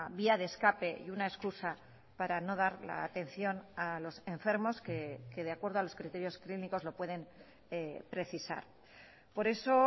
vía de escape y una excusa para no dar la atención a los enfermos que de acuerdo a los criterios clínicos lo pueden precisar por eso